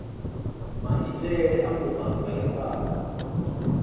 maitele a mbumbano dza ifhasi